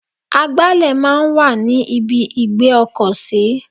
Agbálẹ̀ máa ń wà ní ibi ìgbé ọkọ̀ sí.